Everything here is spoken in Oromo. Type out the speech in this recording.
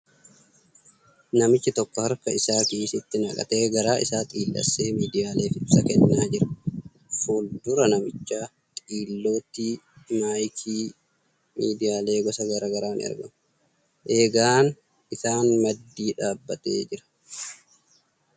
Namixhi tokko harka isaa kiisitti naqatee garaa isaa xiillessee miidiyaaleef ibsa kennaa jira . Fuuldura namicha xiillootti maayikiin miidiyaalee gosa garagaraa ni argaamu . Eegaan isaa maddii dhaabbatee jira .